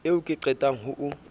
ao ke qetang ho o